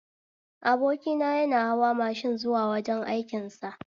Abokina yana hawa mashin zuwa wajen aikin sa